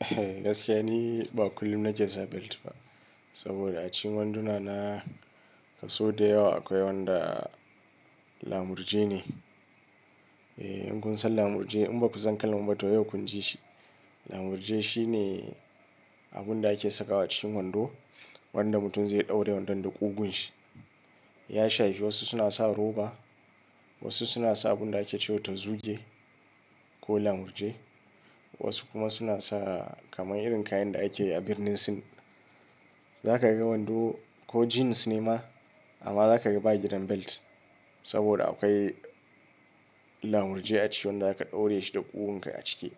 Eh gaskiya ni ba kullum nake sa belt ba. Saboda a cikin wanduna na kaso da yawa akwai wanda lamurje ne. Eh in kun san lamurje in ba ku san kalman ba to yau kun ji shi. Lamurje shine abunda ake sakawa cikin wando wanda mutum zai ɗaure wandon da ƙugun shi. Ya shafi wasu suna sa roba, wasu suna sa abunda ake cewa tazuge ko lamurje, wasu kuma suna sa kamar irin kayan da ake a birnin Sin. Za ka ga wando ko jeans ne ma amma za ka ga ba gidan belt saboda akwai lamurje a ciki wanda aka ɗaura shi da ƙugun ka a cike.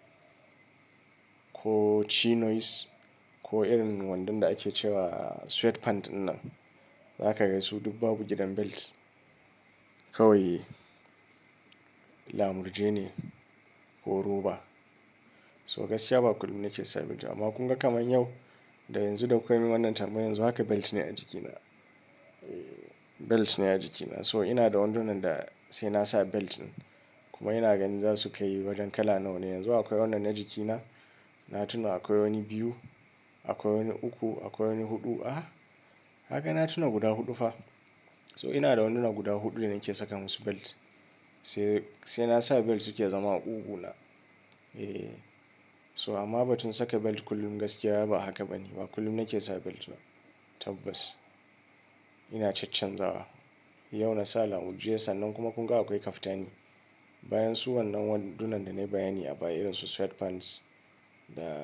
Ko Chinoes ko irin wandon da ake cewa sweat pant dinnan. Za ka ga su duk babu gidan belt. Kawai lamurje ne ko roba. So gaskiya ba kullum nake sa belt amma kun ga kaman yau da yanzu da kuka min wannan tambayar yanzu haka belt ne a jikina. Belt ne a jikina so ina da wandunan da sai nasa beltin kuma ina ganin za su kayi wajen kala nawa ne. Yanzu akwai wannan na jikina na tuna akwai wani biyu, akwai wani uku, akwai wani huɗu. A kaga na tuna guda huɗu fa. So ina da wanduna guda huɗu da nake saka musu belt. Sai, sai nasa belt suke zama a ƙugu na. Eh so amma ba tun saka belt kullum gaskiya ba haka bane ba kullum nake sa belt ba. Tabbas ina chacchanzawa. Yau na sa lamurje sannan kuma kun ga akwai kaftani. Bayan su wannan wandunan da na bayani a baya irin su sweat pants da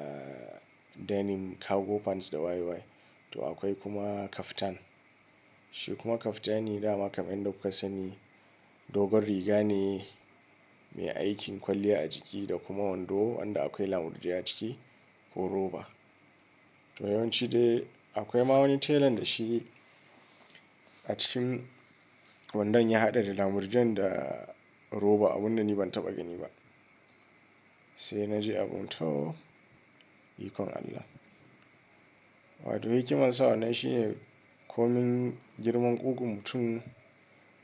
denim cargo pants da waye waye. To akwai kuma kaftan. Shi kuma kaftani dama kaman yanda kuka sani dogon riga ne mai aiki kwalliya a jiki da kuma wando wanda akwai lamurje a ciki ko roba. To yawanci dai akwai ma wani telan da shi a cikin wandon ya haɗa da lamurjen da roba abunda ni ban taɓa gani ba. Sai na ji abun toh ikon Allah. Wato hikiman sa wannan shine komin girman ƙugun mutum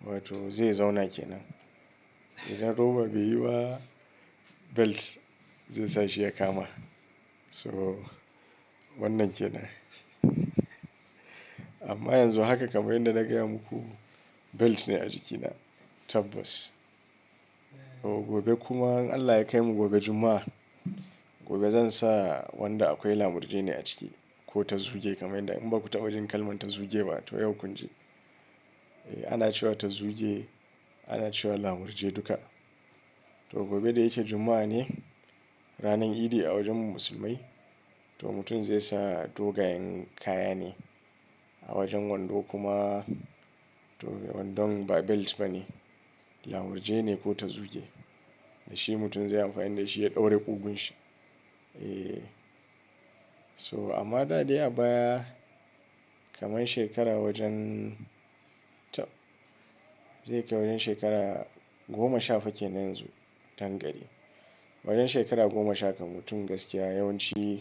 wato zai zauna kenan. Idan roba bai yi belt zai sa shi ya kama. So wannan kenan. Amma yanzu haka kaman yadda na gaya muku belt ne a jikina tabbas. Gobe kuma in Allah ya kaimu gobe Jumma'a. Gobe zan sa wanda akwai lamurje ne a ciki ko tazuge kaman yadda in ba ku taba jin kalman tazuge ba to yau kun ji. Eh ana cewa tazuge ana cewa lamurje duka. To gobe da yake Jumma'a ne ranan idi a wajen mu musulmai. To mutum zai sa dogayen kaya ne a wajen wando kuma to wandon ba belt ba ne lamurje ne ko tazuge. Da shi mutum zai amfani da shi ya ɗaure ƙugun shi. Eh so amma da dai a baya kamar shekara wajen tab zai kai wajen shekara goma sha fa kenan yanzu dankari. Wajen shekara goma sha kam mutum gaskiya yawanci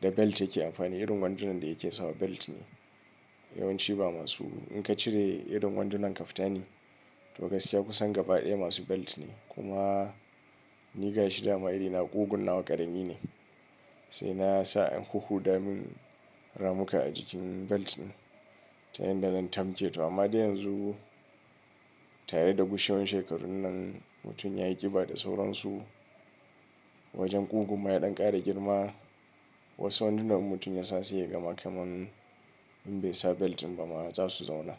da belt yake amfani irin wandunan da yake sawa belt ne. Yawanci ba masu in ka cire irin wandunan kaftani to gaskiya kusan gaba ɗaya masu belt ne. Kuma ni ga shi dama iri na ƙugun nawa ƙarami ne. Sai na sa an huhhuda min ramuka a jikin belt din ta yanda zan tamke to amma dai yanzu tare da gushewan shekarun nan mutum ya yi ƙiba da sauransu wajen ƙugun ma yaɗan ƙara girma. Wasu wandunan in mutum ya sa se yaga ma kaman in bai sa belt din ba ma za su zauna.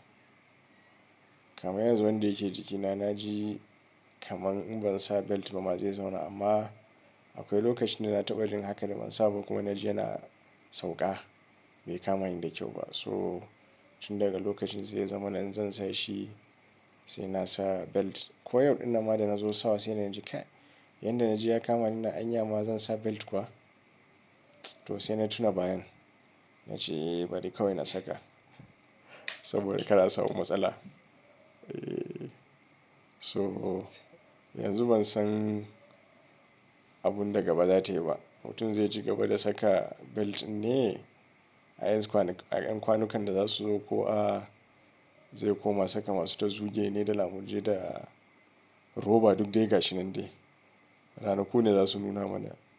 Kaman yanzu wanda yake jikina na ji kaman in ban sa belt ba ma zai zauna amma akwai lokacin da na taɓa jin haka da ban sa ba kuma na ji yana sauƙa bai kama ni da kyau ba. So tun daga lokacin sai ya zamana in zan sa shi sai nasa belt. Ko yau ɗinnan ma da na zo sawa sai na ji kai yanda na ji ya kama nin nan anya ma zan sa belt kuwa. To sai na tuna bayan na ji bari kawai na saka saboda kar a samu matsala. Eh so yanzu ban san abunda gaba za tai ba. Mutum zai ci gaba da saka belt din ne? A yan kwanukan da za su zo ko a zai koma saka masu tazuge ne da lamurje da roba duk dai ga shi nan dai. Ranaku ne za su nuna mana.